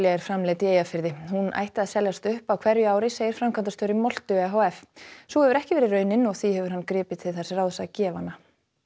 er framleidd í Eyjafirði hún ætti að seljast upp á hverju ári segir framkvæmdastjóri moltu e h f sú hefur ekki verið raunin og því hefur hann gripið til þess ráðs að gefa hana